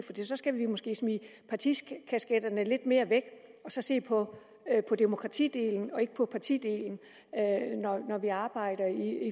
skal vi måske smide partikasketterne lidt mere væk og se på demokratidelen og ikke på partidelen når vi arbejder